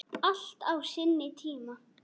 Allt á sinn tíma.